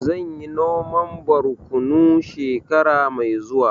Zan yi noman borkonu shekara mai zuwa